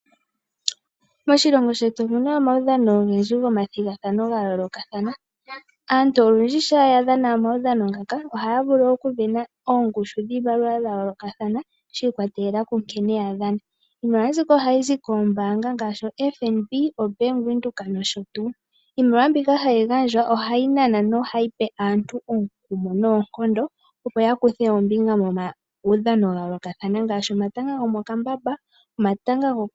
Moshilongo shetu omuna omawudhano ogendji go mathigathano ga yoolokathana. Aantu olundji shampa yadhana omawudhamo ngaka oha ya vulu okusindana ongushu dhiimaliwa ya yoolokathana shi i kwatelela ku nkene ya dhana. iimaliwa mbika aha yi zi koombaanga ngaashi FNB, Bank Windhoek nosho tuu. Iimaliwa mbika ha yi gandjwa oha yi nana no ha yipe aantu omukumo noonkondo opo ya kuthe ombinga mo ma wudhano wa yoolokathana ngaashi omatanga gomokambamba.